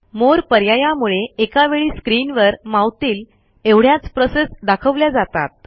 मोरे पर्यायामुळे एका वेळी स्क्रीनवर मावतील एवढ्याच प्रोसेस दाखवल्या जातात